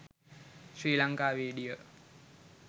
sri lanka video